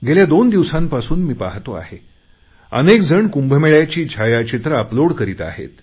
गेल्या दोन दिवसापासून मी पाहतो आहे अनेक जण कुंभमेळ्याची छायाचित्रे अपलोड करीत आहेत